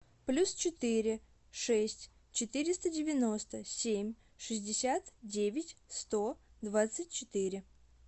плюс четыре шесть четыреста девяносто семь шестьдесят девять сто двадцать четыре